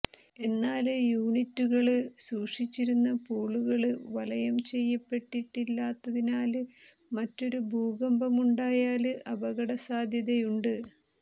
എന്നാല് യൂനിറ്റുകള് സൂക്ഷിച്ചിരുന്ന പൂളുകള് വലയം ചെയ്യപ്പെട്ടിട്ടില്ലാത്തതിനാല് മറ്റൊരു ഭൂകമ്പമുണ്ടായാല് അപകട സാധ്യതയുണ്ട്